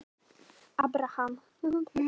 Abraham